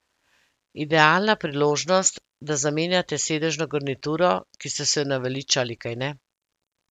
Idealna priložnost, da zamenjate sedežno garnituro, ki ste se je naveličali, kajne?